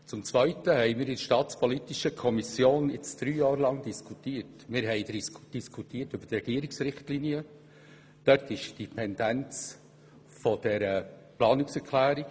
Zum anderen diskutieren wir nun in der Staatspolitischen Kommission seit drei Jahren über die Regierungsrichtlinien und die erwähnte Planungserklärung.